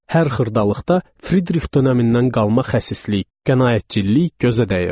Hər xırdalıqda Fridrix dönəmindən qalma xəsislik, qənaətçilik gözə dəyirdi.